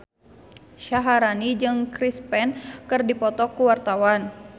Syaharani jeung Chris Pane keur dipoto ku wartawan